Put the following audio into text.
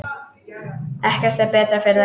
Ekkert er betra fyrir þær.